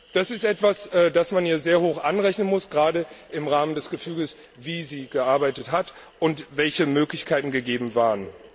Das ist etwas, das man ihr sehr hoch anrechnen muss, gerade im Rahmen des Gefüges, in dem sie gearbeitet hat, und der Möglichkeiten, die gegeben waren.